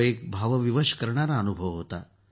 तो एक भावविवश करणारा अनुभव होता